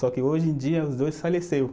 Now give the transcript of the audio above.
Só que hoje em dia os dois faleceu